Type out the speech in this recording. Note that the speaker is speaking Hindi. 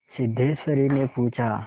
सिद्धेश्वरीने पूछा